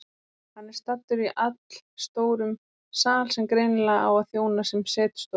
Hann er staddur í allstórum sal sem greinilega á að þjóna sem setustofa.